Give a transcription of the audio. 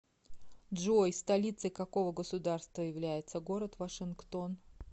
джой столицей какого государства является город вашингтон